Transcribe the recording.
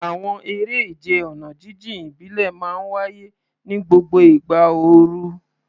Àwọn eré ìje ọ̀nà jíjìn ìbílẹ̀ máa ń wáyé ní gbogbo ìgbà ooru.